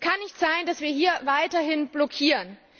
Es kann nicht sein, dass wir hier weiterhin blockieren.